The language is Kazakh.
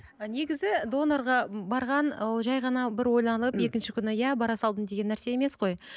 і негізі донорға барған ол жай ғана бір ойланып екінші күні иә бара салдым деген нәрсе емес қой